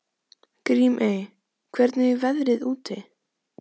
Grímey, hvernig er veðrið úti?